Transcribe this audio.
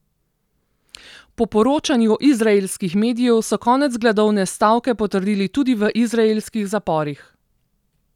Po poročanju izraelskih medijev so konec gladovne stavke potrdili tudi v izraelskih zaporih.